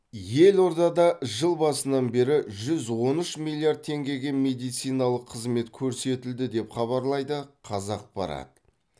елордада жыл басынан бері жүз он үш миллиард теңгеге медициналық қызмет көрсетілді деп хабарлайды қазақпарат